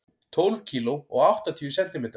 Tólf kíló og áttatíu sentimetrar.